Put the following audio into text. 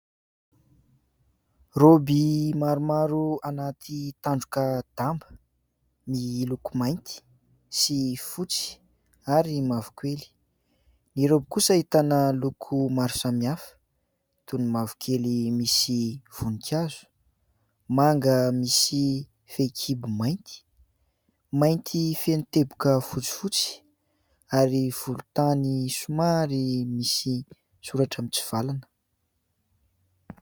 "Robe" maromaro anaty tandroka-damba miloko mainty sy fotsy ary mavokely, ny "robe" kosa ahitana loko maro samihafa toy ny mavokely misy voninkazo manga misy fehin-kibo maintimainty feno teboka fotsifotsy ary volontany somary misy soratra mitsivalana